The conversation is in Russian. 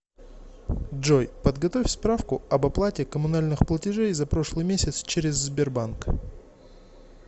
джой подготовь справку об оплате коммунальных платежей за прошлый месяц через сбербанк